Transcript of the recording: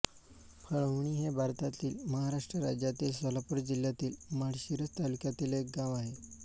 फळवणी हे भारतातील महाराष्ट्र राज्यातील सोलापूर जिल्ह्यातील माळशिरस तालुक्यातील एक गाव आहे